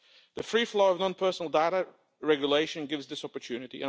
The free flow of non personal data regulation gives this opportunity.